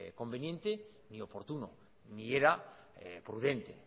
conveniente ni oportuno ni era prudente